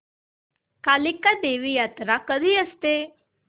कालिका देवी यात्रा कधी असते